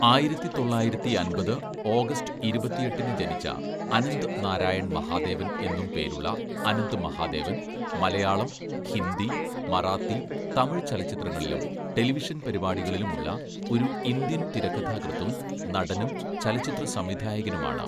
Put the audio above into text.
ആയിരത്തി തൊള്ളായിരത്തിയമ്പത് ഓഗസ്റ്റ് ഇരുപത്തിയെട്ടിന്‌ ജനിച്ച, അനന്ത് നാരായൺ മഹാദേവൻ എന്നും പേരുള്ള അനന്ത് മഹാദേവൻ മലയാളം, ഹിന്ദി, മറാത്തി, തമിഴ് ചലച്ചിത്രങ്ങളിലും ടെലിവിഷൻ പരിപാടികളിലും ഉള്ള ഒരു ഇന്ത്യൻ തിരക്കഥാകൃത്തും നടനും ചലച്ചിത്ര സംവിധായകനുമാണ്.